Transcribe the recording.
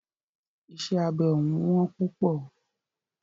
Iṣẹ́ abẹ òún wọ́n púpọ̀.